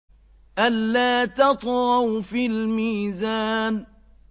أَلَّا تَطْغَوْا فِي الْمِيزَانِ